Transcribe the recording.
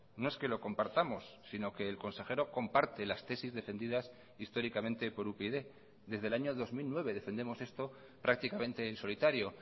no es que lo compartamos sino que el consejero comparte las tesis defendidas históricamente por upyd desde el año dos mil nueve defendemos esto prácticamente en solitario